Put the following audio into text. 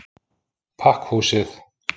Pakkhúsið